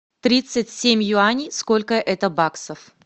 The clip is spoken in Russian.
тридцать семь юаней сколько это баксов